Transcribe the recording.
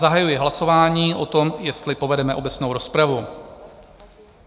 Zahajuji hlasování o tom, jestli povedeme obecnou rozpravu.